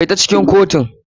Kai ta kotu cikin kotu.